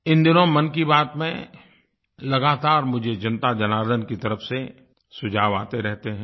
इन दिनों मन की बात में लगातार मुझे जनताजनार्दन की तरफ़ से सुझाव आते रहते हैं